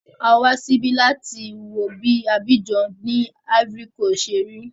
Awá síbí láti wo bí Abidjan ni Ivory coast ṣe rí.